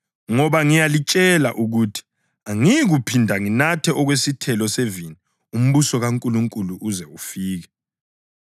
Ngoba ngiyalitshela ukuthi angiyikuphinda nginathe okwesithelo sevini umbuso kaNkulunkulu uze ufike.”